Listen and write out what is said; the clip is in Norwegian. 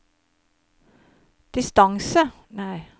distance